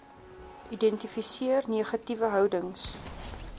identifiseer negatiewe houdings